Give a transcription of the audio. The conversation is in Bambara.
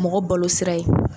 Mɔgɔ balo sira yen